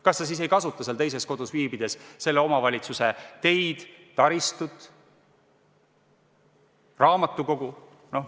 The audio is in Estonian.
Kas ta siis ei kasuta teises kodus viibides selle omavalitsuse teid, taristut, raamatukogu?